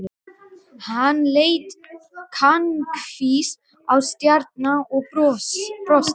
Hann leit kankvís á Stjána og brosti.